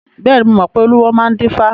Bẹ́ẹ̀ni, mo mọ pé olúwo ló máa ń dífá.